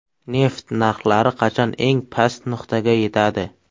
Neft narxlari qachon eng past nuqtaga yetadi?